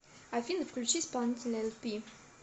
афина включи исполнителя элпи